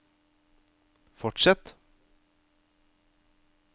fortsett